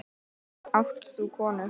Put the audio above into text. Átt þú konu?